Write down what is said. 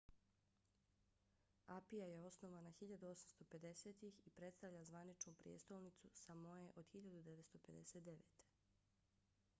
apia je osnovana 1850-ih i predstavlja zvaničnu prijestolnicu samoe od 1959